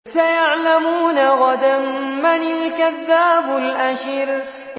سَيَعْلَمُونَ غَدًا مَّنِ الْكَذَّابُ الْأَشِرُ